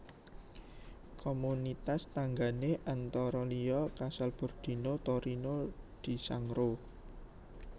Komunitas tanggané antara liya Casalbordino Torino di Sangro